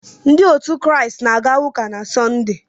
Ndị Kraịst na-aga ụka na Sọnde.